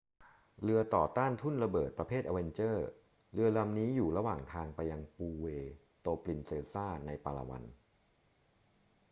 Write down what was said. เรือต่อต้านทุ่นระเบิดประเภท avenger เรือลำนี้อยู่ระหว่างทางไปยังปูเวร์โตปรินเซซาในปาลาวัน